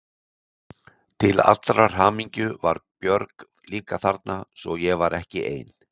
Til allrar hamingju var Björg líka þarna svo ég var ekki ein.